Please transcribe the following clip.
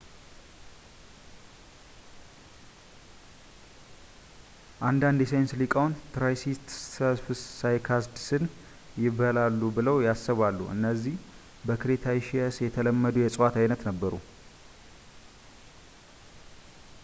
አንዳንድ የሳይንስ ሊቃውንት ትራይሲተስፕስ ሳይካድስን ይበላሉ ብለው ያስባሉ እነዚህ በክሬታሺየስ የተለመዱ የእጽዋት ዓይነት ነበሩ